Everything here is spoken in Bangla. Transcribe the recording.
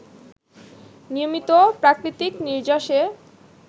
নিয়মিত প্রাকৃতিক নির্যাসে